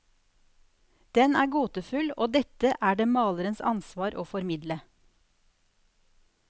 Den er gåtefull, og dette er det malerens ansvar å formidle.